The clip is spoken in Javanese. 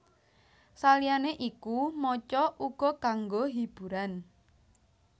Saliyane iku maca uga kanggo hiburan